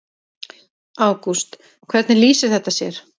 Ágúst: Hvernig lýsir þetta sér?